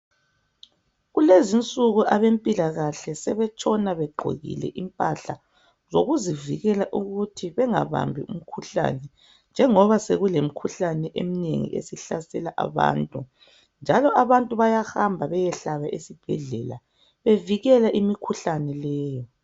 Kulezinsuku abempilakahle sebetshona begqokile impahla zokuzivikela ukuthi bengabambi imikhuhlane njengoba sokulomkhuhlane eminengi esihlasela abantu njalo abantu bayahamba besiyahlaba esibhedlela bevikela imikhuhlane leyo.